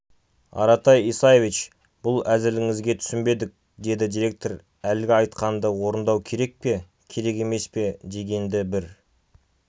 аратай исаевич бұл әзіліңізге түсінбедік деді директор әлгі айтқанды орындау керек пе керек емес пе дегенді бір